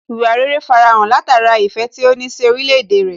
Ìwà rere farahàn látara ìfẹ́ tí ó ní sí orílẹ̀ èdè rẹ̀